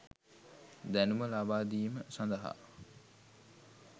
දැනුම ලබාදීම සඳහා